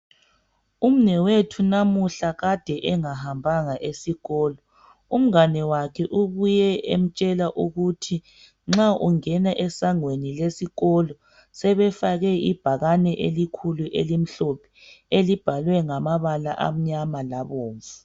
Umnewethu namuhla kade engahambanga esikolo umnganiwakhe ubuye emtshela ukuthi nxa ungena esangweni lesikolo sebefake ibhakani elikhulu elimhlophe elibhalwe ngamabala amakhulu amamnyama labomvu